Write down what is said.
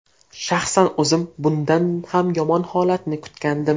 Shaxsan o‘zim bundan ham yomon holatni kutgandim.